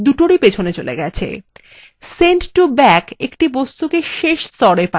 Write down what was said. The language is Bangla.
send to back একটা বস্তুকে শেষ স্তরএ পাঠায়